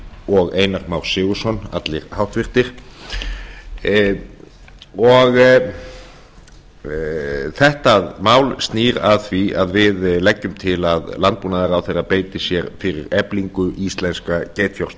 og einar már sigurðsson allir háttvirtir þetta mál snýr að því að við leggjum til að hæstvirtur landbúnaðarráðherra beiti sér fyrir eflingu íslenska